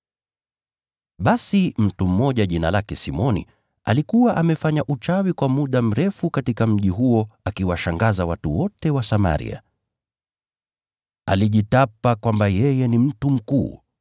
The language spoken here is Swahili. Basi mtu mmoja jina lake Simoni alikuwa amefanya uchawi kwa muda mrefu katika mji huo akiwashangaza watu wote wa Samaria. Alijitapa kwamba yeye ni mtu mkuu,